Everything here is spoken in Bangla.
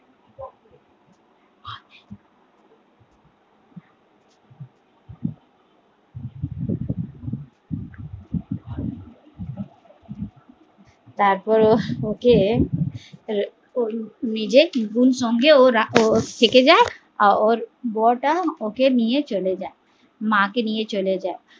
তারপর ও ওকে নিজের বোন সঙ্গে ও থেকে যায় ওর বোয়া টা ওকে নিয়ে চলে যায়, মা কে নিয়ে চলে যায়